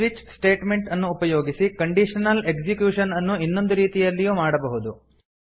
switch statement ಉಪಯೋಗಿಸಿ conditional execution ಅನ್ನು ಇನ್ನೊಂದು ರೀತಿಯಲ್ಲೂ ಮಾಡಬಹುದು